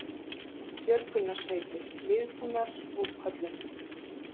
Björgunarsveitir viðbúnar útköllum